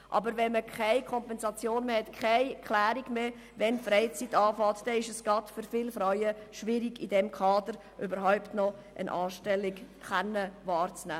Aber wenn man keine Kompensation dafür kriegt und die Abgrenzung zur Freizeit nicht geklärt ist, ist es gerade für Frauen sehr schwierig, im Kader überhaupt noch eine Anstellung wahrnehmen zu können.